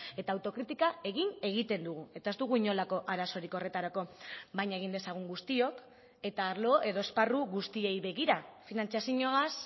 eta autokritika egin egiten dugu eta ez dugu inolako arazorik horretarako baina egin dezagun guztiok eta arlo edo esparru guztiei begira finantzazioaz